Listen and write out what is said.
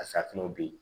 A safunɛw be ye